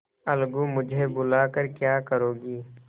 अलगूमुझे बुला कर क्या करोगी